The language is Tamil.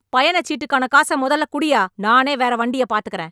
பயணச்சீட்டுக்கான காசை மொதல்ல குடுய்யா... நானே வேற வண்டிய பாத்துக்கறேன்.